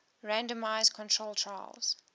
randomized controlled trials